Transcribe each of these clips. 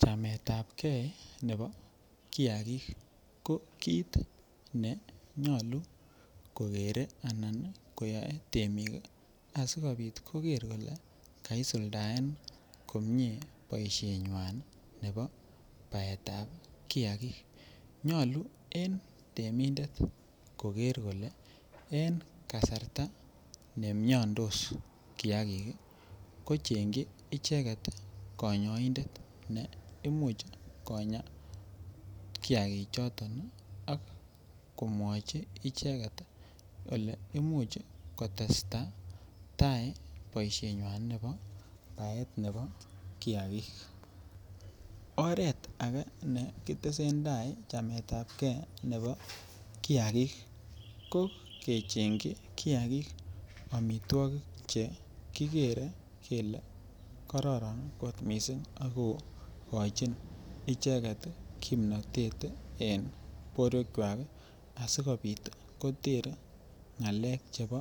Chametab kee nebo kiakik ko kiit nenyolu kokere anan koyoe temik asikobit koker kolee kaisuldaen komnye boishenywan nebo baetab kiakik, nyolu en temindet koker kolee en kasarta nemiondos kiakik kochengyi icheket konyoindet neimuch konyaa kiakichoton ak komwochi icheket kolee imuch kotesta taii boishenywan nebo baet nebo kiakik., oreet akee nekitesentai chametab kee nebo kiakik ko kechengyi kiakik amitwokik chekikere kelee kororon kot mising ak kokochin icheket kimnotet en borwekwak asikobit koter ng'alek chebo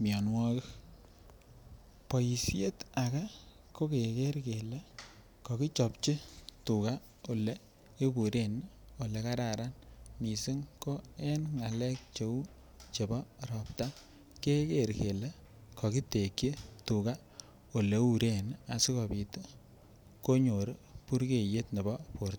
mionwokik, bishet akee ko keker kelee kokichopchi tukaa oleiburen olekararan mising ko en ngalek cheuu chebo robta keker kelee kokitekyi tukaa oleuren asikobit konyor burkeiyet nebo borto.